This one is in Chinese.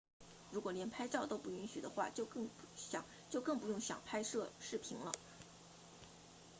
如果连拍照都不允许的话就更不用想拍摄视频了